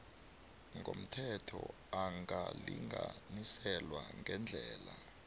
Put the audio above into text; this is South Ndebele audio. ngomthetho angalinganiselwa ngeendlela